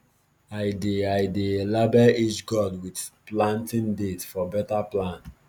i dey i dey label each gourd with planting date for better plan